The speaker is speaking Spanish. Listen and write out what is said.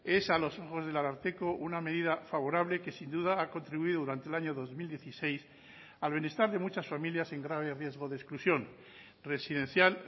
es a los ojos del ararteko una medida favorable que sin duda ha contribuido durante el año dos mil dieciséis al bienestar de muchas familias en grave riesgo de exclusión residencial